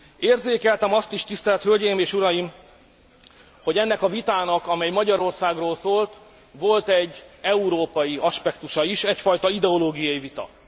Érzékeltem azt is, tisztelt hölgyeim és uraim, hogy ennek a vitának, amely Magyarországról szólt, volt egy európai aspektusa is, egyfajta ideológiai vita.